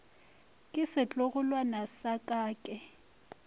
ke setlogolwana sa ka ke